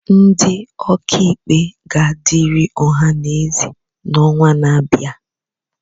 Ndị ọka ikpe ga-adịrị ọha na eze n'ọnwa na-abịa